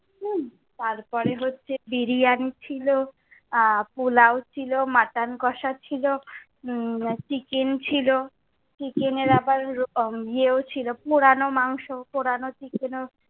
হম তারপরে হচ্ছে বিরিয়ানি ছিলো, আহ পোলাও ছিলো, মটন কষা ছিলো, উম চিকেন ছিলো, চিকেন এর আবার ইয়েও ছিল, পোড়ানো মাংস, পোড়ানো চিকেনও।